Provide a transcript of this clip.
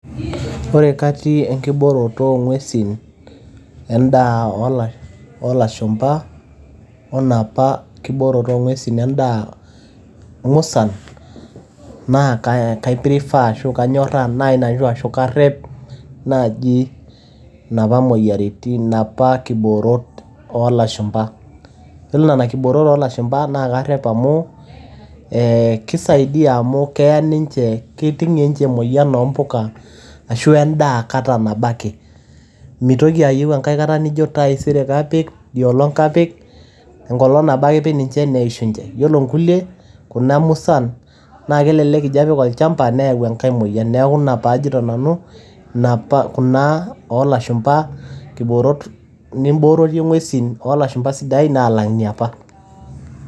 Ore katin o enkibooroto oong'uesin, endaa oolashumba, oenapa kibooroto endaa musan naa kaiprefer anyoraa ashu karep, naaji inapa moyiaritin inapa kiboorot oolashumba. iyiolo inena kiboorot oolashumba naa karep amu keisaidia amu keiting'ie ninche emoyian oompuka ashu endaa kata nabo ake. Meitoki ayieu enkai kata nintoki ajo taisere kapik idiolong' kapik, enkolong' ake nabo ipik ninche neishunye. Iyiolo inkuliek kunamusan kelelek ijo apik olchamba neyau enkai moyian. Naa ina peyie ajoito nanu, kuna oolashumpa kipoorot nibooroyie ing'uesin oolashumba sidain alang' inapa.